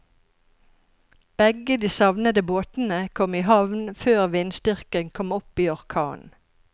Begge de savnede båtene kom i havn før vindstyrken kom opp i orkan.